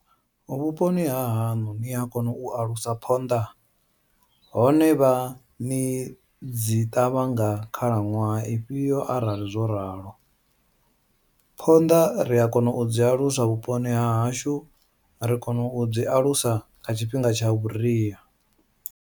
Vhuponi hahaṋu nia kona u alusa phonḓa, hone vha ni dzi ṱavha nga khalaṅwaha ifhio arali zworalo, phonḓa ria kona u dzi alusa vhuponi hahashu ri kona u dzi alusa kha tshifhinga tsha vhuria.